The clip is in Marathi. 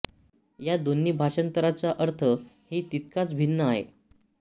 ह्या दोन्ही भाषांतराचा अर्थ हि तितकाच भिन्न आहे